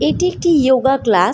একটি একটি যোগা ক্লাস ।